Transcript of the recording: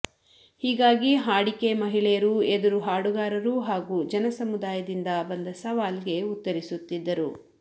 ಹೀಗಾಗಿ ಹಾಡಿಕೆ ಮಹಿಳೆಯರು ಎದುರು ಹಾಡುಗಾರರು ಹಾಗೂ ಜನ ಸಮುದಾಯದಿಂದ ಬಂದ ಸವಾಲ್ಗೆ ಉತ್ತರಿಸುತ್ತಿದ್ದರು